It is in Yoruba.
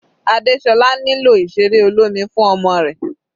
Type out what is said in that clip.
Adesola nílò ìseré olómi fún ọmọ rẹ̀.